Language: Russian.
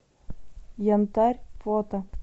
янтарь фото